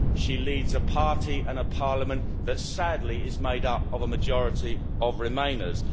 she leads a party and a parliament that, sadly, is made up of a majority of Remainers.